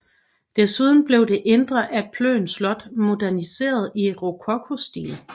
Desuden blev det indre af Plön Slot moderniseret i rokokostil